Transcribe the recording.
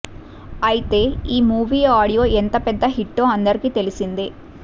అయితే ఈ movie audio ఎంత పెద్ద హిట్టో అందరికీ తెలిసిందే